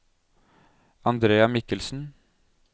Andrea Mikkelsen